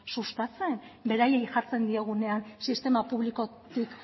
sustatzen beraiei jartzen diegunean sistema publikotik